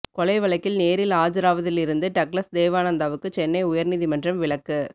கொலை வழக்கில் நேரில் ஆஜராவதிலிருந்து டக்ளஸ் தேவானந்தாவுக்கு சென்னை உயர்நீதிமன்றம் விலக்கு